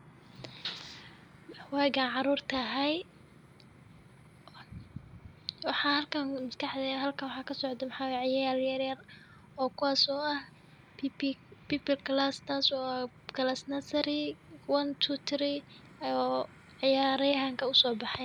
Waagaa caruurta hay, Waxaa halkaan maskaxday, halkaan waxaa ka socdo maxay ciyaal yar yaar oo kuwaas oo ah PP class wa kalaas nursery one two three iyo ciyaarayahanka u soo baxay.